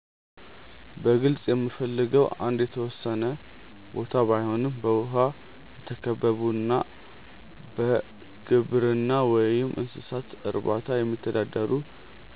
በግልጽ የምፈልገው አንድ የተወሰነ ቦታ ባይኖረም በውሃ የተከበቡና በግብርና ወይም እንስሳት እርባታ የሚተዳደሩ